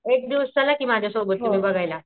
एक दिवस चला कि माझ्या सोबत बघायला.